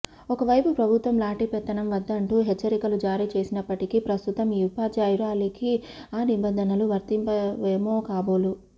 ఒకవైపు ప్రభుత్వం లాఠీ పెత్తనం వద్దంటూ హెచ్చరికలు జారీ చేసినప్పటికి ప్రస్తుతం ఈ ఉపాధ్యాయురాలికి ఆ నిబంధనలు వర్తించవేమో కాబోలు